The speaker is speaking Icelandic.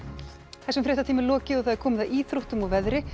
þessum fréttatíma er lokið og það er komið að íþróttum og veðri